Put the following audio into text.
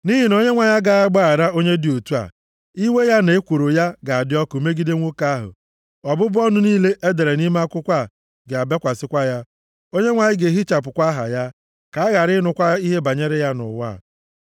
Nʼihi na Onyenwe anyị agaghị agbaghara onye dị otu a! Iwe ya, na ekworo ya, ga-adị ọkụ megide nwoke ahụ. Ọbụbụ ọnụ niile e dere nʼime akwụkwọ a ga-abịakwasịkwa ya. Onyenwe anyị ga-ehichapụkwa aha ya, ka a ghara ịnụkwa ihe banyere ya nʼụwa.